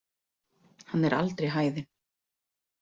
Hann er aldrei hæðinn.